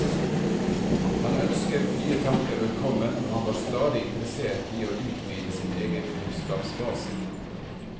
Han ønsket nye tanker velkommen, og han var stadig interessert i å utvide sin egen kunnskapsbase.